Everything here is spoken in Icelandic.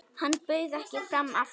Hann bauð ekki fram aftur.